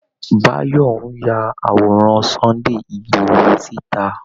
Báyọ̀ ń ya àworan Sunday ìgboho síta